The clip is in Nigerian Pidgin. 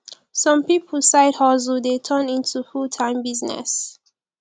some pipo side hustle de turn into full time business